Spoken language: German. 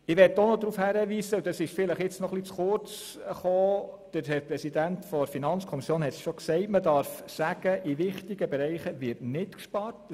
Ich möchte noch darauf hinweisen – das ist bisher vielleicht ein bisschen zu kurz gekommen –, dass in wichtigen Bereichen nicht gespart wird.